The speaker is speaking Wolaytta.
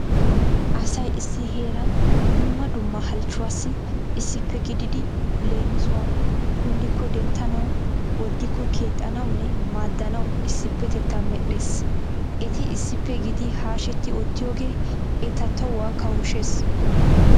Asay issi heeran dumma dumma halchchuwaassi issippe gididi leemisuwawu kunddikko denttanawu woddikko keexxanawunne maaddanawu issippetettaa medhdhees. Eti issippe gidi hasheti oottiyogee eta toohuwa kawushshees.